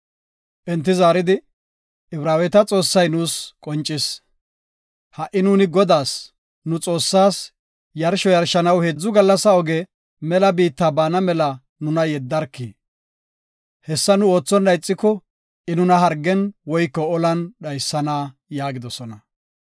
Enti zaaridi, “Ibraaweta Xoossay nuus qoncis. Ha77i nuuni Godaas, nu Xoossaas, yarsho yarshanaw heedzu gallasa oge mela biitta baana mela nuna yeddarki. Hessa nu oothonna ixiko I nuna hargen woyko olan dhaysana” yaagidosona.